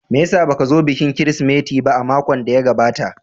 Me ya sa ba ka zo bikin Kirsimeti ba a makon da ya gabata?